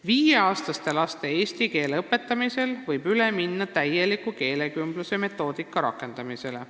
Viieaastastele lastele eesti keele õpetamisel võib üle minna täieliku keelekümbluse metoodika rakendamisele.